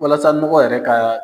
Walasa nɔgɔ yɛrɛ ka